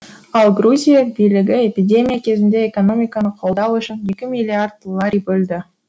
ал грузия билігі эпидемия кезінде экономиканы қолдау үшін екі миллиард лари бөлді